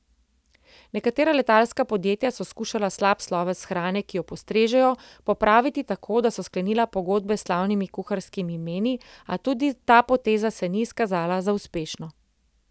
Nekatera letalska podjetja so skušala slab sloves hrane, ki jo postrežejo, popraviti tako, da so sklenila pogodbe s slavnimi kuharskimi imeni, a tudi za poteza se ni izkazala za uspešno.